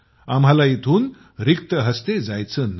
आम्हाला इथून रिक्त हस्ते जायचं नाही